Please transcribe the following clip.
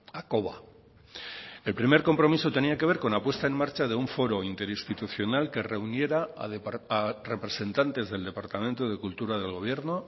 hakoba el primer compromiso tenía que ver con la puesta en marcha de un foro interinstitucional que reuniera a representantes del departamento de cultura del gobierno